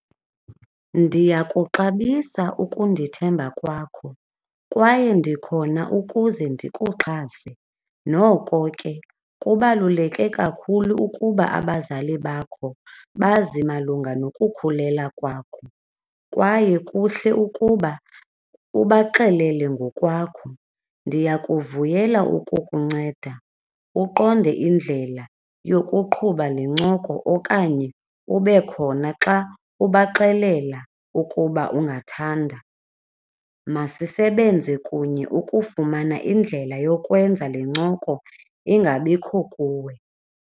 Ndiyakuxabisa ukundithemba kwakho kwaye ndikhona ukuze ndikuxhase. Noko ke, kubaluleke kakhulu ukuba abazali bakho bazi malunga nokukhulela kwakho kwaye kuhle ukuba ubaxelele ngokwakho. Ndiyakuvuyela ukukunceda uqonde indlela yokuqhuba nencoko okanye ube khona xa ubaxelela ukuba ungathanda. Masisebenze kunye ukufumana indlela yokwenza le ncoko ingabikho kuwe.